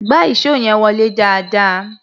Gbá ìṣó yẹn wọlé dáadáa!